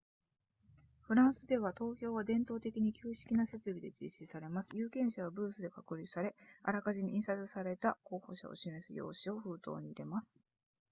フランスでは投票は伝統的に旧式な設備で実施されます有権者はブースで隔離されあらかじめ印刷された候補者を示す用紙を封筒に入れます